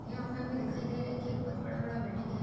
यहाँ पे हमें दिखाई दे रहा है कि एक बहोत बड़ा बड़ा बिल्डिंग है।